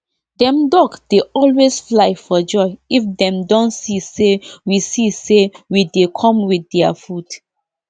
dem duck dey always fly for joy if dem don see say we see say we dey come with dia food